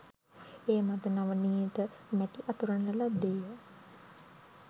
ඒ මත නවනීත මැටි අතුරන ලද්දේ ය